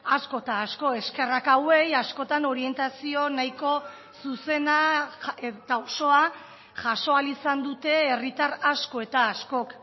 asko eta asko eskerrak hauei askotan orientazio nahiko zuzena eta osoa jaso ahal izan dute herritar asko eta askok